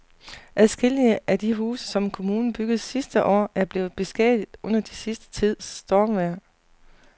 Adskillige af de huse, som kommunen byggede sidste år, er blevet beskadiget under den sidste tids stormvejr.